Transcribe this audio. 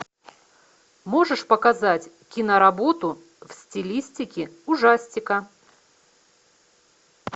можешь показать киноработу в стилистике ужастика